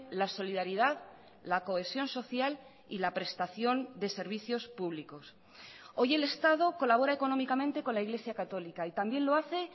la solidaridad la cohesión social y la prestación de servicios públicos hoy el estado colabora económicamente con la iglesia católica y también lo hace